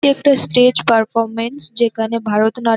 এটি একটা stage performance যেখানে ভারত নাট--